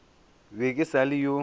be ke sa le yo